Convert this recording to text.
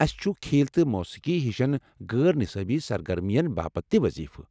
اسہ چھٗ کھیل تہٕ موسیقی ہشن غٲر نصٲبی سرگرمین باپتھ تہِ وضیفہٕ ۔